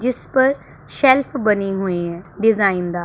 जिस पर सेल्फ बनी हुई है डिजाइन दार।